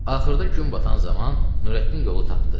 Axırda gün batan zaman Nurəddin yolu tapdı.